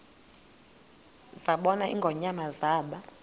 zabona ingonyama zaba